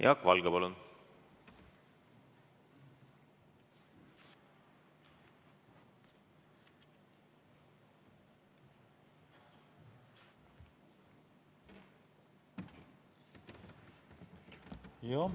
Jaak Valge, palun!